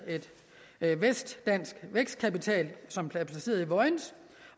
vestdansk vækstkapital som er placeret i vojens